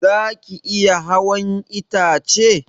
Zaki iya hawan itace?